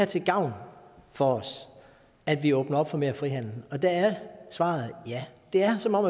til gavn for os at vi åbner op for mere frihandel der er svaret et ja det er som om